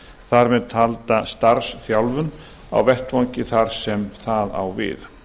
þar með talda starfsþjálfun á vettvangi þar sem það á við